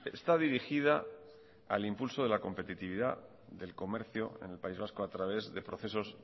está dirigida al impulso de la competitividad del comercio en el país vasco a través de procesos